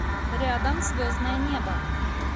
рядом звездное небо